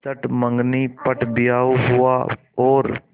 चट मँगनी पट ब्याह हुआ और